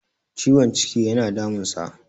ciwon ciki yana damunsa